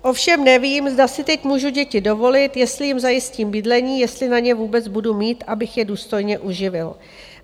Ovšem nevím, zda si teď můžu děti dovolit, jestli jim zajistím bydlení, jestli na ně vůbec budu mít, abych je důstojně uživil.